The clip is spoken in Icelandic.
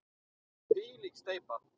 Þvílík steypa!